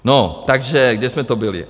No, takže kde jsme to byli?